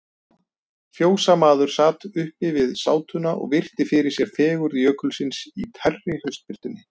Fjósamaður sat uppi við sátuna og virti fyrir sér fegurð Jökulsins í tærri haustbirtunni.